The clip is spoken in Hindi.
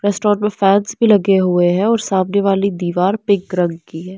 रेस्टोरेंट में फैंस भी लगे हुए हैं और सामने वाली दीवार पिंक रंग की है।